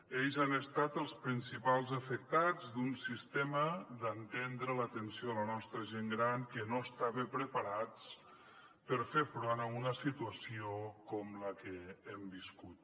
ells han estat els principals afectats d’un sistema d’entendre l’atenció a la nostra gent gran que no estava preparat per fer front a una situació com la que hem viscut